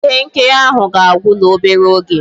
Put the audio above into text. Ihe nkiri ahụ ga-agwu n'obere oge